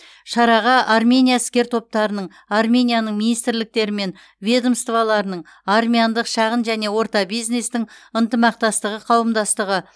шараға армения іскер топтарының арменияның министрліктері мен ведомстволарының армяндық шағын және орта бизнестің ынтымақтастығы қауымдастығы